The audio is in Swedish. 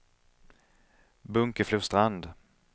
Bunkeflostrand